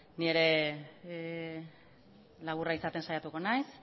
ni ere laburra izaten saiatuko naiz